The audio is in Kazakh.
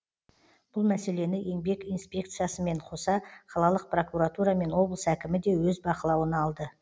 бұл мәселені еңбек инспекциясымен қоса қалалық прокуратура мен облыс әкімі де өз бақылауына алды